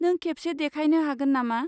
नों खेबसे देखायनो हागोन नामा?